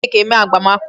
E ji cake eme agbamakwụkwọ.